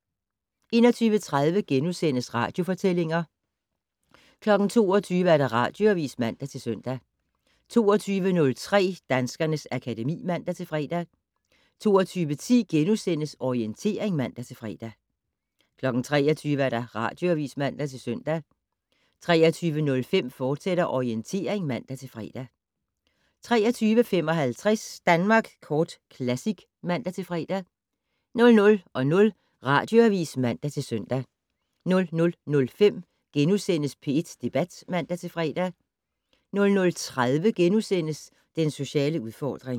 21:30: Radiofortællinger * 22:00: Radioavis (man-søn) 22:03: Danskernes akademi (man-fre) 22:10: Orientering *(man-fre) 23:00: Radioavis (man-søn) 23:05: Orientering, fortsat (man-fre) 23:55: Danmark Kort Classic (man-fre) 00:00: Radioavis (man-søn) 00:05: P1 Debat *(man-fre) 00:30: Den sociale udfordring *